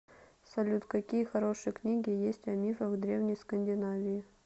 салют какие хорошие книги есть о мифах древней скандинавии